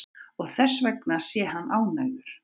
Og þessvegna sé hann ánægður